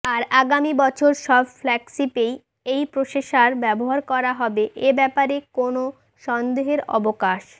আর আগামি বছর সব ফ্ল্যাগশিপেই এই প্রসেসার ব্যাবহার করা হবে এই ব্যাপারে কোন সন্দেহের অবকাশ